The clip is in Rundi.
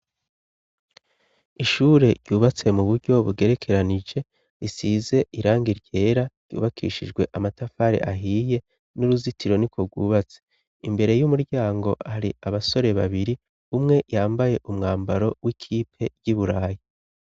Ishure ryubatse mu buryo bugerekeranije risize irangi ryera ryubakishijwe amatafari ahiye n'uruzitiro niko bwubatse imbere y'umuryango hari abasore babiri umwe yambaye umwambaro w'ikipe y'iburayi.